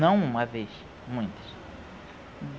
Não uma vez, muitas.